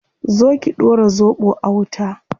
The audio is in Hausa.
Zo ki dora zobo a wuta